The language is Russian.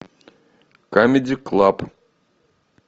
камеди клаб